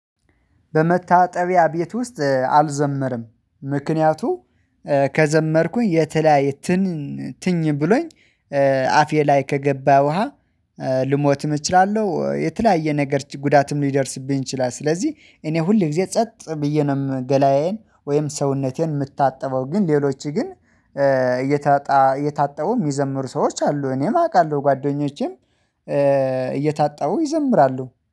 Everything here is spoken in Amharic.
በመታጠቢያ ቤት ውስጥ አልዘመርም ምክንያቱ ከዘመርኩኝ የተለያየ ትን ትኝ ብሎኝ አፌ ላይ ከገባ ውሃ ልሞትም እችላለሁ የተለያየ ነገር ጉዳትም ሊደርስብኝ ይችላል። ስለዚህ እኔ ሁል ጊዜ ጸጥ ብዬ ነው ገላዬን ወይም ሰውነቴን የምታጠበው ግን ሌሎች ግን እየታጣ እየታጠቡ የሚዘምሩ ሰዎች አሉ እኔም አውቃለሁ ጓደኞቼም እየታጠቡ ይዘምራሉ